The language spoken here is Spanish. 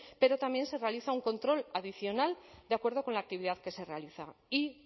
pero también se realiza un control adicional de acuerdo con la actividad que se realiza y